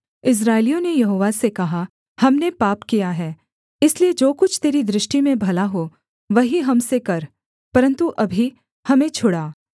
इस्राएलियों ने यहोवा से कहा हमने पाप किया है इसलिए जो कुछ तेरी दृष्टि में भला हो वही हम से कर परन्तु अभी हमें छुड़ा